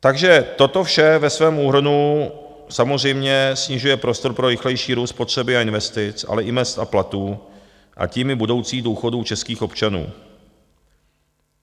Takže toto vše ve svém úhrnu samozřejmě snižuje prostor pro rychlejší růst spotřeby a investic, ale i mezd a platů, a tím i budoucích důchodů českých občanů.